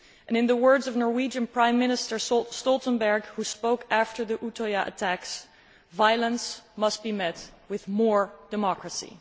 In the words of Norwegian Prime Minister Jens Stoltenberg, who spoke after the Utøya attacks violence must be met with more democracy'.